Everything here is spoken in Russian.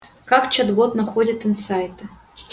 как чат-бот находит инсайты